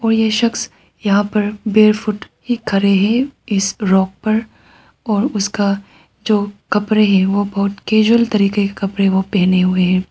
और ये शख्स यहां पर बेयरफुट ही खड़े हैं इस रॉक पर और उसका जो कपड़े है वो बहुत कैजुअल तरीके के कपड़े वो पहने हुए है।